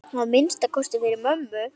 Að minnsta kosti fyrir mömmu.